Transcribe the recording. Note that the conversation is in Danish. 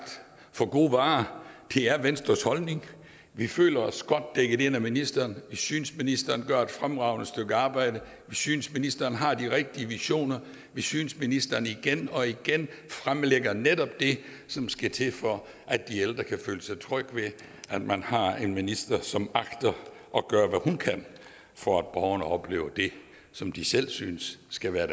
for gode varer det er venstres holdning vi føler os godt dækket ind af ministeren vi synes ministeren gør et fremragende stykke arbejde vi synes ministeren har de rigtige visioner vi synes ministeren igen og igen fremlægger netop det som skal til for at de ældre kan føle sig trygge ved at man har en minister som agter at gøre hvad hun kan for at borgerne oplever det som de selv synes skal være